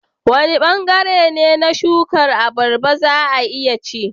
Wane bangare ne na shukar abarba za a iya ci?